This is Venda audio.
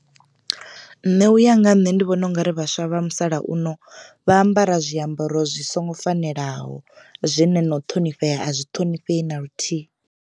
Nṋe uya nga nṋe ndi vhona ungari vhaswa vha musalauno vha ambara zwiambaro zwi songo fanelaho zwine na u ṱhonifhea a zwi ṱhonifhei na luthihi.